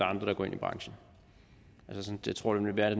andre der går ind i branchen jeg tror det vil være